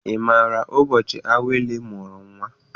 Ị maara ụbọchị Awele mụrụ nnwa?